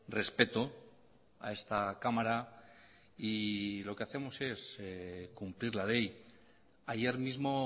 respeto a esta cámara y lo que hacemos es cumplir la ley ayer mismo